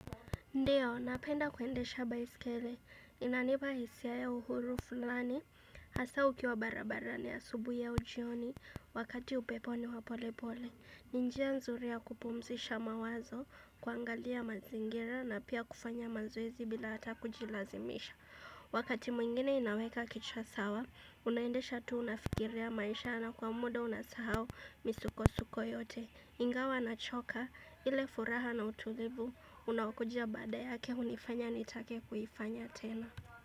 Ndio, napenda kuendesha baiskeli. Inanipa hisia ya uhuru fulani. Asa ukiwa barabarani asubui au jioni wakati upepo ni wapolepole. Ni njia nzuri ya kupumzisha mawazo kuangalia mazingira na pia kufanya mazoezi bila hata kujilazimisha. Wakati mwingine inaweka kichwa sawa, unaendesha tuu unafikiria maisha na kwa muda unasahau misukosuko yote. Ingawa na choka, ile furaha na utulivu, unaokujia baada yake hunifanya nitake kuifanya tena.